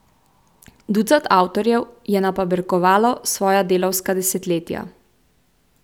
Ducat avtorjev je napaberkovalo svoja delavska desetletja.